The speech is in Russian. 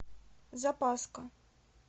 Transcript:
запаска